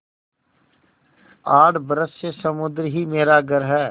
आठ बरस से समुद्र ही मेरा घर है